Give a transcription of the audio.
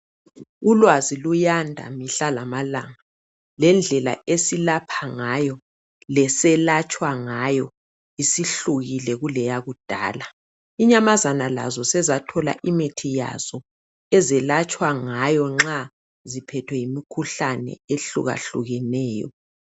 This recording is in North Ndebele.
Ulwazi luyanda mihla lamalanga lendlela esilapha ngayo leselatshwa ngayo isihlukile kuleyakudala. Inyamazana lazo sezathola imithi yazo ezelatshwa ngayo nxa ziphethwe yimikhuhlane ehlukahlukeneyo.